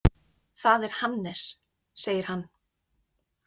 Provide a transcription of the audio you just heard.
Það er Hannes, segir hann.